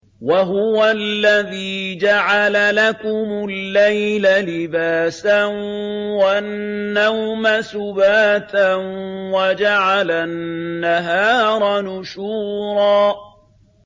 وَهُوَ الَّذِي جَعَلَ لَكُمُ اللَّيْلَ لِبَاسًا وَالنَّوْمَ سُبَاتًا وَجَعَلَ النَّهَارَ نُشُورًا